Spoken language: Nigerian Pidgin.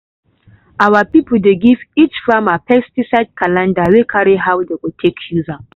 our people dey give each farmer pesticide calendar wey carry how dem go take use am